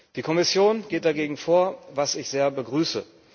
Die Kommission geht dagegen vor, was ich sehr begrüße.